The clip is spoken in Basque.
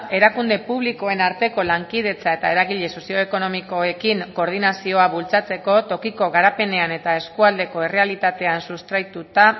erakunde publikoen arteko lankidetza eta eragile sozioekonomikoekin koordinazioa bultzatzeko tokiko garapenean eta eskualdeko errealitatean sustraituta